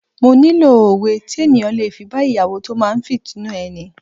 Mo nílò òwe tí ènìyàn le fi bá Ìyàwó tó máa fìtínà ẹni.